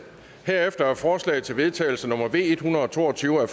herefter er forslag til vedtagelse nummer v en hundrede og to og tyve af